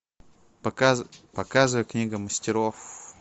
показывай книга мастеров